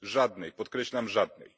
Żadnej, podkreślam żadnej.